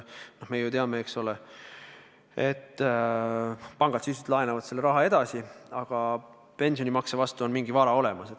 Me ju teame, et pangad sisuliselt laenavad selle raha edasi, aga pensionimakse vastu on mingi vara olemas.